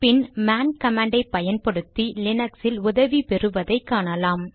பின் man கமாண்டை பயன்படுத்தி லினக்ஸில் உதவி பெறுவதை காணலாம்